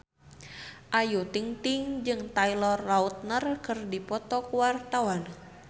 Ayu Ting-ting jeung Taylor Lautner keur dipoto ku wartawan